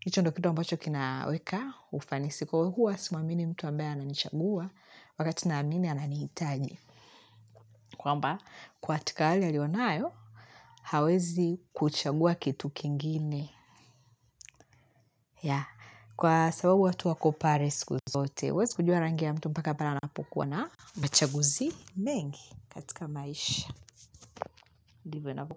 Hicho ndo kitu ambacho kinaweka, ufani si kwa huwa, simuamini mtu ambaye ananichagua, wakatina amini ananihitaji. Kwamba, kwatika hali a ionayo, hawezi kuchagua kitu kingine. Ya, kwa sababu watu wakopare siku zote uwezi kujua rangi ya mtu mpaka pale ana pokuwa na machaguzi mengi katika maisha ndivo inavokuwa.